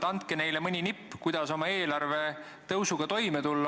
Andke neile mõni nipp, kuidas oma eelarvet kasvatada.